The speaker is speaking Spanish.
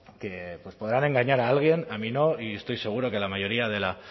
que podrán engañar a alguien a mí no y estoy seguro que a la mayoría de la